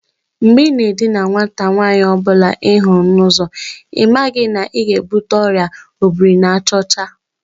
Mgbe i na edina nwata nwaanyi ọ bụla ihuru n'uzo, ị maghị na ị ga-ebute Ọrịa obiri-na-aja ocha?